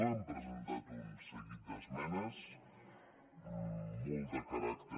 hem presentat un seguit d’esmenes molt de caràcter